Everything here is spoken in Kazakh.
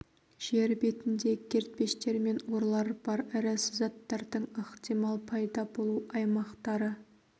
жер бетінде кертпештер мен орлар бар ірі сызаттардың ықтимал пайда болу аумақтары